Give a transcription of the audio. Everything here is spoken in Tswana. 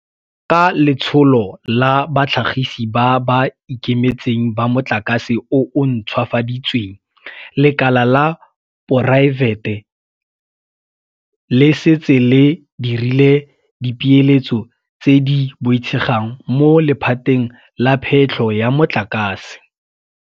Ka Letsholo la Batlhagisi ba ba Ikemetseng ba Motlakase o o Ntšhwafaditsweng, lekala la poraefete le setse le dirile dipeeletso tse di boitshegang mo lephateng la phetlho ya motlakase.